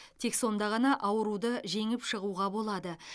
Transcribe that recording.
тек сонда ғана ауруды жеңіп шығуға болады